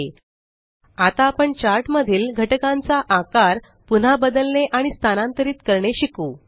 एलटीपॉजेग्ट आता आपण चार्ट मधील घटकांचा आकार पुन्हा बदलने आणि स्थानांतरित करणे शिकू